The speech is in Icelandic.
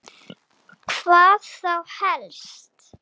Hvað þá helst?